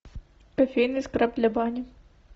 кофейный скраб для бани